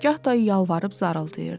Gah da yalvarıb zar-zarıldayırdı.